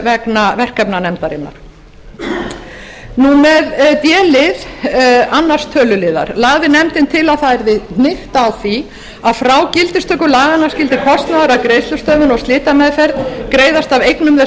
vegna verkefna nefndarinnar með d lið annars töluliðar lagði nefndin til að það yrði hnykkt á því að frá gildistöku laganna skyldi kostnaður af greiðslustöðvun og slitameðferð greiðast af eignum þess